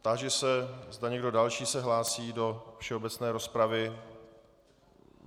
Táži se, zda někdo další se hlásí do všeobecné rozpravy.